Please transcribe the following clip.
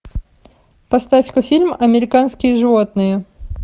поставь ка фильм американские животные